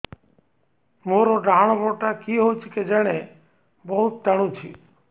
ମୋର୍ ଡାହାଣ୍ ଗୋଡ଼ଟା କି ହଉଚି କେଜାଣେ ବହୁତ୍ ଟାଣୁଛି